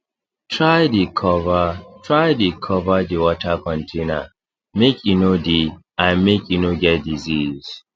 try dey cover try dey cover d water container make e no dey and make e no get disease